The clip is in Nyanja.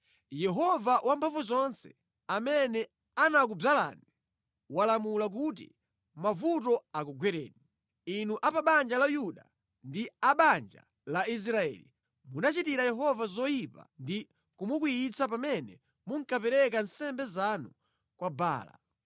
Yehova Wamphamvuzonse, amene anakudzalani, walamula kuti mavuto akugwereni. Inu a banja la Yuda ndi a banja la Israeli munachitira Yehova zoyipa ndi kumukwiyitsa pamene munkapereka nsembe zanu kwa Baala.